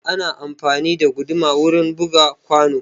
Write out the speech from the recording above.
Ana amfani da guduma wurin buga kwano.